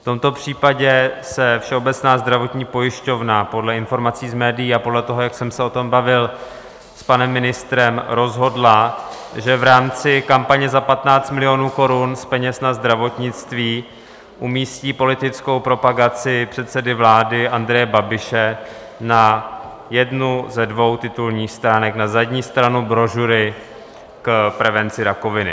V tomto případě se Všeobecná zdravotní pojišťovna, podle informací z médií a podle toho, jak jsem se o tom bavil s panem ministrem, rozhodla, že v rámci kampaně za 15 milionů korun z peněz na zdravotnictví umístí politickou propagaci předsedy vlády Andreje Babiše na jednu ze dvou titulních stránek, na zadní stranu brožury k prevenci rakoviny.